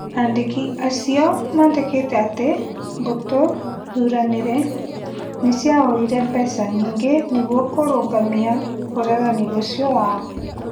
Andĩki acio mandĩkĩte atĩ mbũtũ thuranĩre nĩciahoire mbeca nyingĩ nĩguo kũrũgamia ũregani ũcio wao